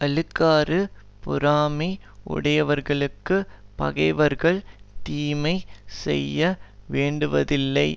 அழுக்காறு பொறாமை உடையவர்களுக்குப் பகைவர்கள் தீமை செய்ய வேண்டுவதில்லை